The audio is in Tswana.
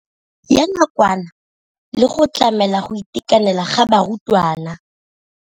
Ya nakwana le go tlamela go itekanela ga barutwana.